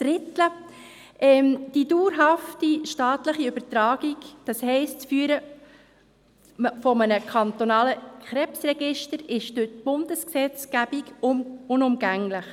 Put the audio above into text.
Die dauerhafte staatliche Übertragung, das heisst das Führen eines kantonalen Krebsregisters, ist durch die Bundesgesetzgebung unumgänglich.